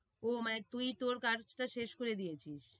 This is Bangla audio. ও মানে তুই তোর কাজটা শেষ করে দিয়েছিস?